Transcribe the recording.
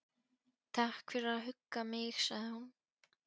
Takk fyrir að hugga mig sagði hún.